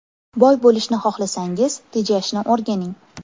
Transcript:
Boy bo‘lishni xohlasangiz – tejashni o‘rganing.